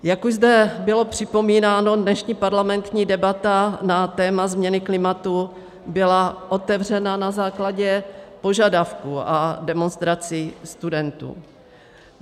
Jak už zde bylo připomínáno, dnešní parlamentní debata na téma změny klimatu byla otevřena na základě požadavků a demonstrací studentů.